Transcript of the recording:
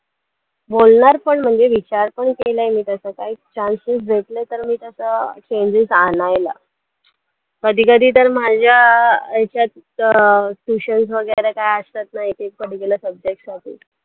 बोलणार पण म्हणजे विचार पण केला मी तसं काही chance चं देत नाही तर मी तसं changes आणायला कधी कधी तर माझ्या ह्याच्यात अं patience वैगरे काही असत नाही ते particular subjects साठी